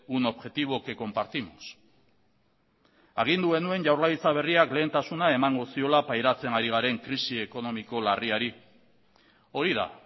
un objetivo que compartimos agindu genuen jaurlaritza berriak lehentasuna emango ziola pairatzen ari garen krisi ekonomiko larriari hori da